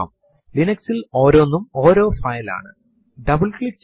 യഥാർത്ഥത്തിൽ കാട്ട് ന്റെ മറ്റൊരു പ്രധാന ഉപയോഗം ഒരു ഫൈൽ ഉണ്ടാക്കുവനാണ്